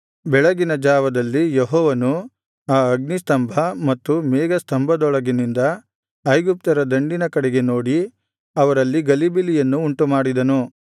ಬೆಳಗಿನ ಜಾವದಲ್ಲಿ ಯೆಹೋವನು ಆ ಅಗ್ನಿ ಸ್ತಂಭ ಮತ್ತು ಮೇಘ ಸ್ತಂಭದೊಳಗಿನಿಂದ ಐಗುಪ್ತ್ಯರ ದಂಡಿನ ಕಡೆಗೆ ನೋಡಿ ಅವರಲ್ಲಿ ಗಲಿಬಿಲಿಯನ್ನು ಉಂಟುಮಾಡಿದನು